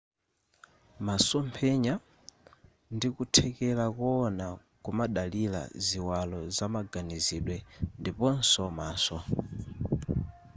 masomphenya ndi kuthekera kuwona kumadalira ziwalo zamaganizidwe ndiponso maso